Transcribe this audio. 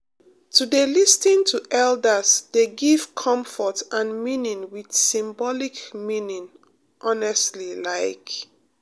to dey um lis ten um to elders um dey give comfort and meaning with symbolic meaning honestly like